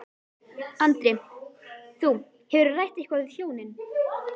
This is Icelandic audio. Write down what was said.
Andri: Þú, hefurðu rætt eitthvað við hjónin?